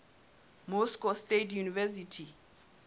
moscow state university